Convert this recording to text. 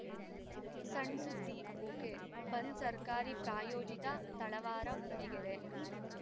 ಸಣ್‌ ಸುದ್ದಿ ಒಕೆಬಂದ್‌ ಸರ್ಕಾರಿ ಪ್ರಾಯೋಜಿತ ತಳವಾರ ಮೂಡಿಗೆರೆ